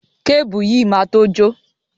Kébùù yìí máa to jó.